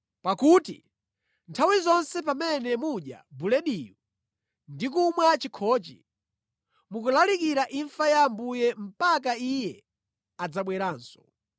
Pakuti nthawi zonse pamene mudya bulediyu ndikumwa chikhochi, mukulalikira imfa ya Ambuye mpaka Iye adzabweranso.